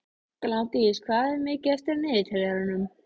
Gnádís, hvað er mikið eftir af niðurteljaranum?